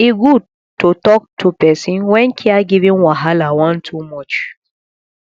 e good to talk to person when caregiving wahala wan too much